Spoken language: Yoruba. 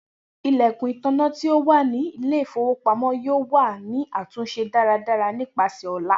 Ilẹkun itanna ti o wa ni ile-ifowopamọ yoo wa ni atunṣe daradara nipasẹ ọla.